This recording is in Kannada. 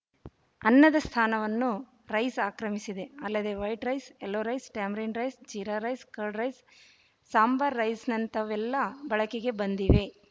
ಅನ್ನದ ಸ್ಥಾನವನ್ನು ರೈಸ್ ಆಕ್ರಮಿಸಿದೆ ಅಲ್ಲದೆ white rice yellow rice tamarind rice jeera rice curd rice sambar ರೈಸ್‍ನಂತಹವೆಲ್ಲಾ ಬಳಕೆಗೆ ಬಂದಿವೆ